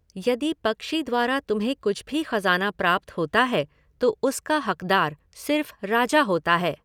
यदि पक्षी द्वारा तुम्हें कुछ भी ख़ज़ाना प्राप्त होता है, तो उसका हक़दार सिर्फ़ राजा होता है।